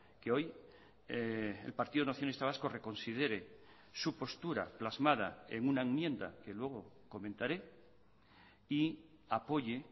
que hoy el partido nacionalista vasco reconsidere su postura plasmada en una enmienda que luego comentaré y apoye